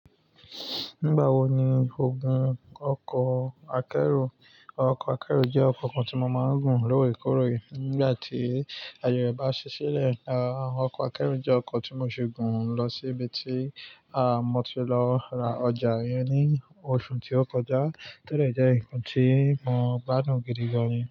Nígbà wo ni o gùn ọkọ̀ akẹ́rù? Ọkọ̀ akẹ́rù jẹ́ ọkọ̀ kan tí mo máa ń gùn lóòrèkóòrè nígbà tí aaye rẹ bá ṣi sílẹ̀. Ọkọ̀ akẹ́rù jẹ́ ọkọ̀ tí mo ṣi gùn lọ síbi tí, à, mo ti lọ ra ọjà iyẹn ní oṣù tí ó kọjá tó dẹ jẹ́ nǹkan tí mo gbádùn gidi gan ni.